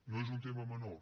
no és un tema menor